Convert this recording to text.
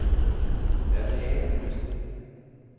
Adriaterkysten